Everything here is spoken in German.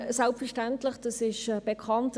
Das ist bekannt.